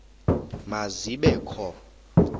ma zibe kho